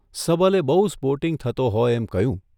સબલે બહુ સ્પોર્ટિંગ થતો હોય એમ કહ્યું,